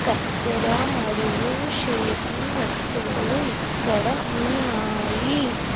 కత్తెర మరియు షేపింగ్ వస్తువులు ఇక్కడ ఉన్నాయి.